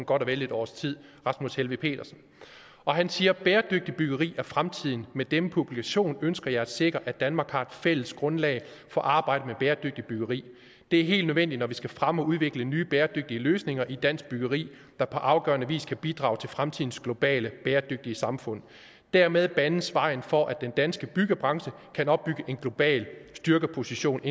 godt og vel et års tid han siger bæredygtigt byggeri er fremtiden med denne publikation ønsker jeg at sikre at danmark har et fælles grundlag for arbejdet med bæredygtigt byggeri det er helt nødvendigt når vi skal fremme og udvikle nye bæredygtige løsninger i dansk byggeri der på afgørende vis kan bidrage til fremtidens globale bæredygtige samfund dermed banes vejen for at den danske byggebranche kan opbygge en global styrkeposition